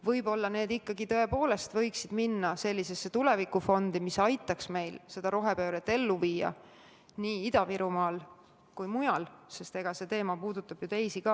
Võib-olla võiks need dividendid minna sellisesse tulevikufondi, mis aitaks meil seda rohepööret ellu viia nii Ida-Virumaal kui ka mujal – see teema puudutab ju teisi paiku ka.